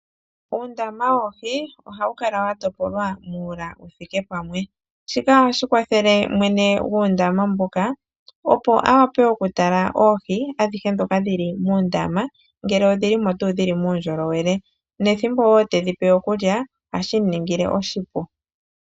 Uundama woohi ohawu kala wa topolwa muula wu thike pamwe. Shika ohashi kwathele mwene guundama mboka, opo a wape okutala oohi adhihe muundama ngele odhi li muundjolowele nethimbo wo tedhi pe okulya ohashi mu ningile oshipu.